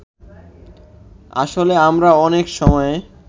আসলে আমরা অনেক সময়ে